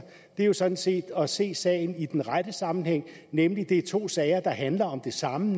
er jo sådan set at se sagen i den rette sammenhæng nemlig at det er to sager der handler om det samme